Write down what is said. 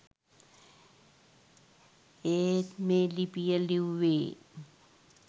ඒත් මේ ලිපිය ලිව්වේ